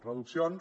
reduccions